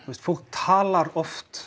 fólk talar oft